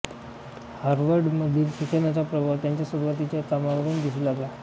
हार्वर्डमधील शिक्षणाचा प्रभाव त्यांच्या सुरूवातीच्या कामावर दिसू लागला